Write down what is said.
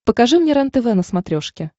покажи мне рентв на смотрешке